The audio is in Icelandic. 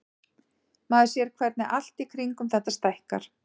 Maður sér hvernig allt í kringum þetta stækkar.